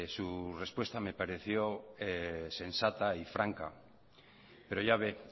su respuesta me pareció sensata y franca pero ya ve